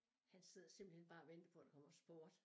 Han sidder simpelthen bare og venter på der kommer sport